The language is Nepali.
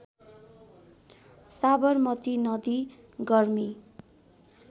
साबरमती नदी गर्मी